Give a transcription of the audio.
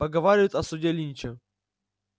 поговаривают о суде линча